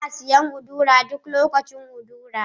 Ina siyan udara duk lokacin udara.